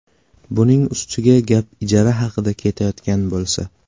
Buning ustiga gap ijara haqida ketayotgan bo‘lsa.